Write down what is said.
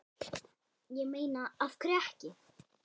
Ég meina af hverju ekki?